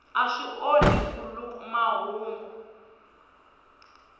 a swi onhi nkhuluk mahungu